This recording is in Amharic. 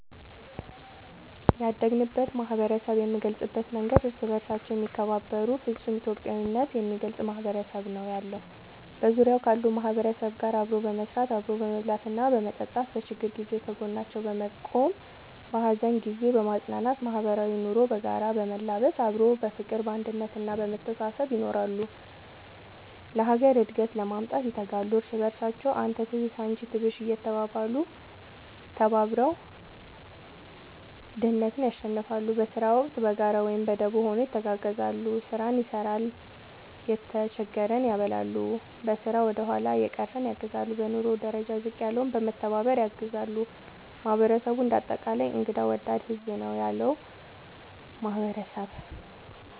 ያደግንበት ማህበረሰብ የምንገልፅበት መንገድ እርስ በርሳቸው የሚከባበሩ ፍፁም ኢትዮጵያዊነት የሚገልፅ ማህበረሰብ ነው ያለው። በዙሪያው ካሉ ማህበረሰብ ጋር አብሮ በመስራት፣ አብሮ በመብላትና በመጠጣት በችግር ጊዜ ከጎናቸው በመቆም በሀዘን ጊዜ በማፅናናት ማህበራዊ ኑሮ በጋራ በመላበስ አብሮ በፍቅር፣ በአንድነት እና በመተሳሰብ ይኖራሉ። ለሀገር እድገት ለማምጣት ይተጋሉ። እርስ በርሳቸው አንተ ትብስ አንቺ ትብሽ እየተባባሉ ተባብረው ድህነትን ያሸንፍለ። በስራ ወቅት በጋራ ወይም በደቦ ሆነው ይተጋገዛሉ ስራን ይሰራል የተጀገረን ያበላሉ፣ በስራ ወደኋላ የቀረን ያግዛሉ፣ በኑሮ ደረጃ ዝቅ ያለውን በመተባባር ያግዛሉ ማህበረሰቡ እንደ አጠቃላይ እንግዳ ወዳድ ህዝብ ነው ያለው ማህበረሰብ ።…ተጨማሪ ይመልከቱ